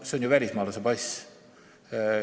See on ju välismaalase pass.